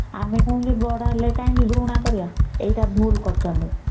ଆମେ କାହିଁକି ବଡ ହେଲେ ଘୃଣା କରିବା ଏଇଟା ଭୁଲ କରୁଛନ୍ତି